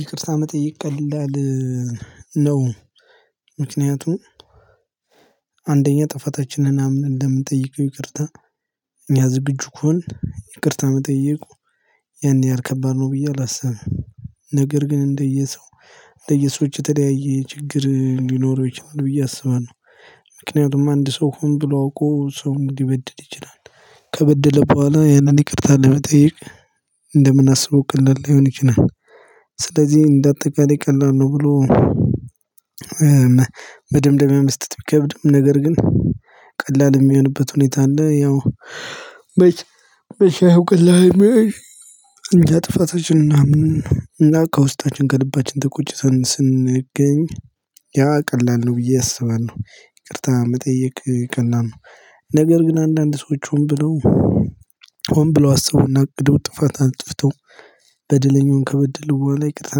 ይቅርታ መጠየቅ ቀላል ነው? ምክንያቱም አንደኛ ጥፋታችንን አምነን እንደምንጠይቀው ይቅርታ ያ ዝግጁ ከሆንን ይቅርታ መጠየቁ ያን ያህል ከባድ ነው ብዬ አላስብም። ነገር ግን እንደየሰው እንደየሰዎች የተለያየ ችግር ሊኖረው ይችላል ብዬ አስባለሁ። ምክንያቱም አንድ ሰው ሆን ብሎ አውቆ ሰውን ሊበድል ይችላል። ከበደለ በኋላ ያንን ይቅርታ ለመጠየቅ እንደምናአስበው ቀላል ላይሆን ይችላል። ስለዚህ እንደ አጠቃላይ ቀላል ነው ብሎ መደምደሚያ መስጠት ቢከብድም ነገር ግን ቀላል የሚሆንበት ሁኔታ አለ። ያው መቼ ነው ነው ቀላል የሚነው እኛ ጥፋታችንን አምነን እና ከውስጣችን ከልባችን ተቆጭተን ስንገኝ ያ ቀላል ነው ብዬ አስባለሁ። ይቅርታ መጠየቅ ቀላል ነው። ነገር ግን አንድአንድ ሰዎች ሁን ብለው ሁን ብለው አስበውና አቅደው ጥፋት አጥፍተው በደለኛውን ከበደለው በኋላ ይቅርታ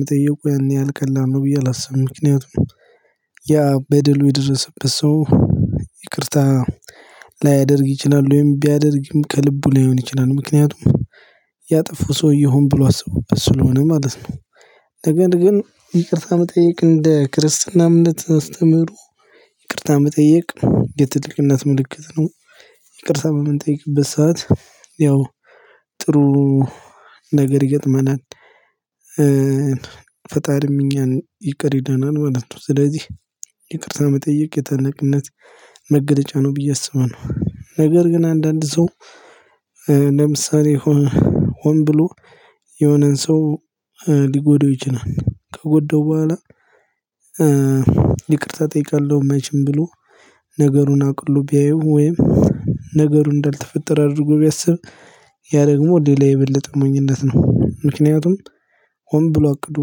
መጠየቁ ያን ያህል ቀላል ነው ብዬ አላስብም። ምክንያቱም ያ በደሉ የደረሰበት ሰው ይቅርታ ላያደርግ ይችላል። ወይም ቢያደርግም ከልቡ ላይሆን ይችላል። ምክንያቱም ያጠፉ ሰውዬ ሁን ብሎ አስቦበት ስለሆነ ማለት ነው። ነገር ግን ይቅርታ መጠየቅ እንደ ክርስትና እምነት አስተምህሮ ይቅርታ መጠየቅ የትልቅነት ምልክት ነው። ይቅርታ በምንጠይቅበት ሰዓት ያው ጥሩ ነገር ይገጥመናል። እኛን ይቅር ይለናል ማለት ነው። ስለዚህ ይቅርታ መጠየቅ የትልቅነት መገለጫ ነው ብዬ አስባለሁ። ነገር ግን አንድአንድ ሰው ለምሳሌ ሆን ብሎ የሆነን ሰው ሊጎደው ይችላል። ከጎደው በኋላ ይቅርታ ጠይቃለሁ መቼም ብሎ ነገሩን አቅሎ ቢያየው ወይም ነገሩን እንዳልተፈጠረ አድርጎ ቢያስብ ያ ደግሞ ሌላ የበለጠ ሞኝነት ነው። ምክንያቱም ሁን ብሎ አቅዶ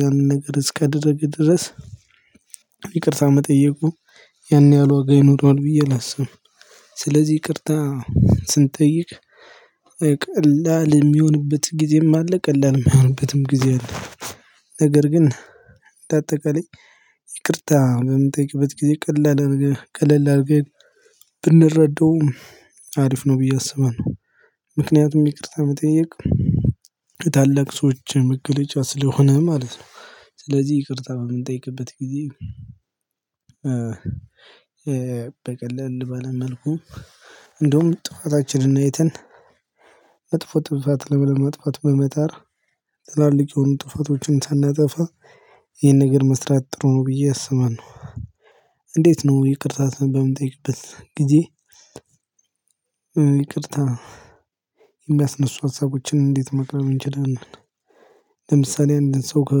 ያንን ነገር እስከደረገ ድረስ ይቅርታ መጠየቁ ያን ያህል ዋጋ ይኖረዋል ብዬ አላስብም። ስለዚህ ይቅርታ ስንጠይቅ ቀላል የሚሆንበት ጊዜም አለ። ቀላል የማይሆንበትም ጊዜ አለ። ነገር ግን እንደ አጠቃላይ ይቅርታ በምንጠይቅበት ጊዜ ቀላል ቀለል አድርገን ብንረዳው አሪፍ ነው ብዬ አስባለሁ። ምክንያቱም ይቅርታ መጠየቅ የታላቅ ሰዎች መገለጫ ስለሆነ ማለት ነው። ስለዚህ ይቅርታ በምንጠይቅበት ጊዜ በቀለል ባለመልኩ እንደውም ጥፋታችንን አይተን መጥፎ ጥፋት ላለማጥፍት በመጣር ትላልቅ የሆኑ ጥፋቶችን ሳናጠፋ ይሄን ነገር መስራት ጥሩ ነው ብዬ አስባለሁ። እንዴት ነው ይቅርታ በምንጠይቅበት ጊዜ ይቅርታ የሚያስነሱ ሀሳቦችን እንዴት ማቅረብ እንችላለን። ለምሳሌ አንድን ሰው ከ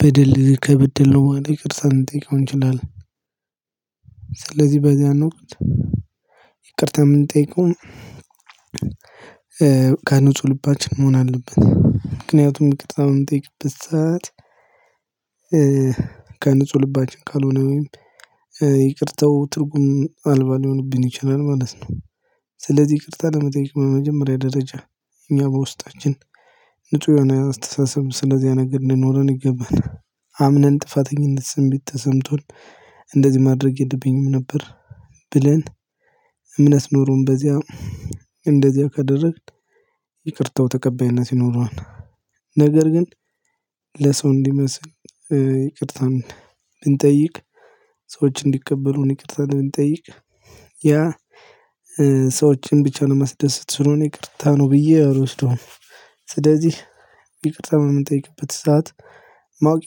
በደል ከበደለው በኋላ ይቅርታ ልንጠይቀው እንችላለን። ስለዚህ በዚአን ወቅት ይቅርታ የምንጠይቀው ከንጹህ ልባችን መሆን አለብን። ምክንያቱም ይቅርታ በምንጠይቅበት ሰዓት ከንጹህ ልባችን ካልሆነ ወይም ይቅርታው ትርጉም አልባ ሊሆንብን ይችላል ማለት ነው። ስለዚህ ይቅርታ ለመጠየቅ በመጀመሪያ ደረጃ እኛ በውስጣችን ንጹህ የሆነ አስተሳሰብም ስለዚያ ነገር ሊኖረን ይገባል አምነን ጥፋተኝነት ስሜት ተሰምቶን እንደዚህ ማድረግ የለብኝም ነበር ብለን እምነት ኖሮን በዚያ እንደዚያ ካደረግን ይቅርታው ተቀባይነት ይኖረዋል። ነገር ግን ለሰው እንዲመስል ይቅርታን ብንጠይቅ ሰዎች እንዲቀበሉን ይቅርታ ብንጠይቅ ያ ሰዎችን ብቻ ለማስደሰት ስለሆነ ይቅርታ ነው ብዬ አልወስደውም። ስለዚህ ይቅርታ በምንጠይቅበት ሰዓት ማወቅ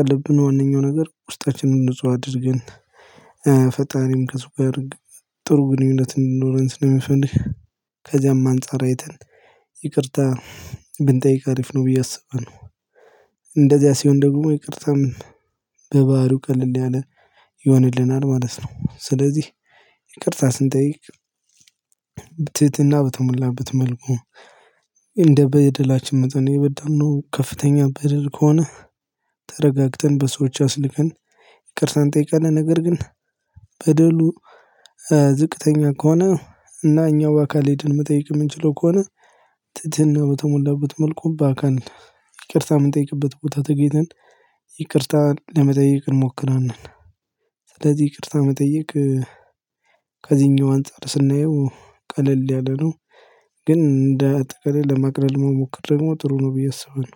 ያለብን ዋነኛው ነገር ውስጣችንን ንጹህ አድርገን ፈጣሪም ከሱ ጋር ጥሩ ግንኙነት እንዲኖረን ስለሚፈልግ ከዚያም አንፃር አይተን ይቅርታ ብንጠይቅ አሪፍ ነው ብዬ አስባለሁ። እንደዚያ ሲሆን ደግሞ ይቅርታም በባህሪው ቀለል ያለ ይሆንልናል ማለት ነው። ስለዚህ ይቅርታ ስንጠይቅ ትህትና በተሞላበት መልኩ እንደ በድላችን መጠን የበደልነው ከፍተኛ በደል ከሆነ ተረጋግተን በሰዎች አስልከን ይቅርታን ጠይቀን ነገር ግን በደሉ ዝቅተኛ ከሆነ እና እኛ በአካል ሄደን መጠየቅ የምንችለው ከሆነ ትትና በተሞላበት መልኩ ባካል ይቅርታ የምንጠይቅበት ቦታ ተገኝተን ይቅርታን ለመጠየቅ እንሞክራለን። ስለዚህ ይቅርታ መጠየቅ ከዚህኛው አንፃር ስናየው ቀለል ያለ ነው። ግን እንደ አጠቃላይ ለማቅለል መሞከር ደግሞ ጥሩ ነው ብዬ አስባለሁ።